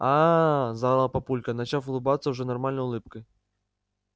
ааа заорал папулька начав улыбаться уже нормальной улыбкой